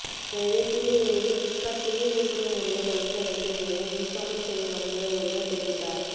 எனவே கூடிய விரைவில் பிளிப்கார்ட் புதிய விற்பனை முறையை வகுக்க வேண்டும் என் ஈகாமர்ஸ் துறை வல்லுநர் ஒருவர் தெரிவித்தார்